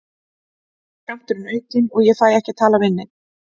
Þá er skammturinn aukinn og ég fæ ekki að tala við neinn.